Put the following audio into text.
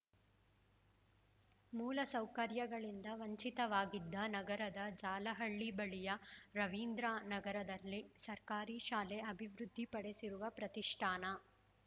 ಮೂಲ ಸೌಕರ್ಯಗಳಿಂದ ವಂಚಿತವಾಗಿದ್ದ ನಗರದ ಜಾಲಹಳ್ಳಿ ಬಳಿಯ ರವೀಂದ್ರ ನಗರದಲ್ಲಿ ಸರ್ಕಾರಿ ಶಾಲೆ ಅಭಿವೃದ್ಧಿ ಪಡಿಸಿರುವ ಪ್ರತಿಷ್ಠಾನ